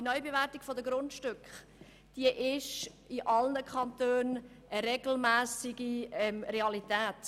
Die Neubewertung der Grundstücke ist in allen Kantonen eine regelmässige Realität.